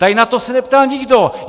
Tady na to se neptal nikdo.